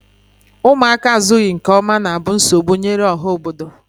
ụmụaka azụghị nke ọma na-abụ nsogbu nyere ọha obodo.